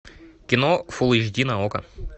кино фул эйч ди на окко